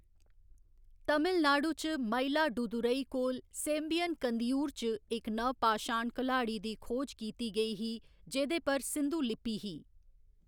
तमिलनाडु च मयिलादुथूरई कोल सेम्बियन कंदियूर च इक नवपाषाण कल्हाड़ी दी खोज कीती गेई ही जेह्‌दे पर सिंधु लिपि ही।